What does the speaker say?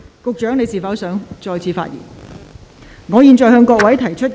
局長，你是否想再次發言？